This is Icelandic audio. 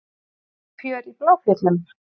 Líf og fjör í Bláfjöllum